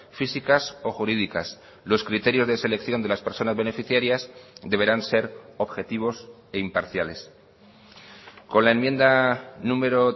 físicas o jurídicas los criterios de selección de las personas beneficiarias deberán ser objetivos e imparciales con la enmienda número